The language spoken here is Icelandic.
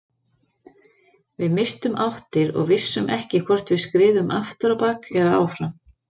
Við misstum áttir og vissum ekki hvort við skriðum aftur á bak eða áfram.